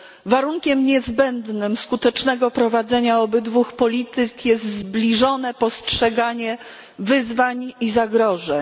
Warunkiem niezbędnym skutecznego prowadzenia obydwu polityk jest zbliżone postrzeganie wyzwań i zagrożeń.